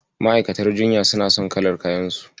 Ma'aukatan jinya suna son kalar kayansu.